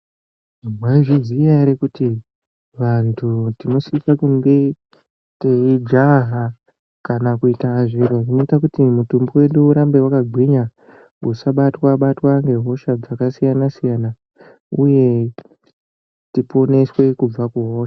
Maizviziya ere kuti vanthu tinosise kunge teijaha kana kuita zviro zvinoita kuti mutumbi wedu ugare wakagwinya usabatwa batwa ngehosha dzakasiyana siyana uye tiporeswe kubva kuhosha.